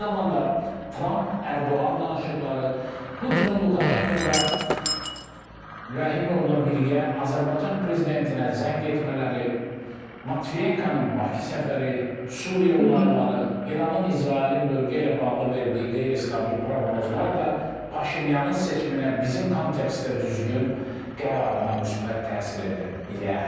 Eyni zamanda Tramp-Ərdoğan danışıqları, Putin, Lukaşenko və Rəhimovla birgə Azərbaycan prezidentinə zəng etmələri, Matviyenkonun Bakı səfəri, Suriya olayları, İranın, İsrailin bölgə ilə bağlı verdiyi qeyri-stabil proqnozlar da Paşinyanın seçiminə bizim kontekstdə düzgün qərarına müsbət təsir edə bilər.